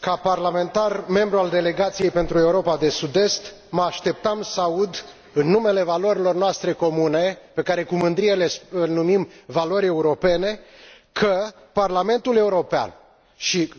Ca parlamentar, membru al Delegației pentru Europa de sud est, mă așteptam să aud, în numele valorilor noastre comune, pe care cu mândrie le numim valori europene, că, Parlamentul European și